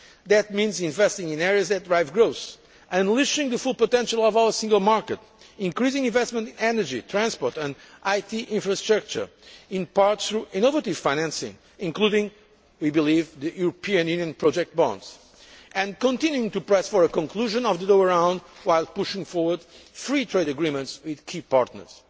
That means investing in areas that derive growth, unleashing the full potential of our single market, increasing investment in energy, transport and IT infrastructure in part, through innovative financing, including, we believe, the European Union project bonds and continuing to press for a conclusion of the Doha Round, while pushing forward free trade agreements with key partners.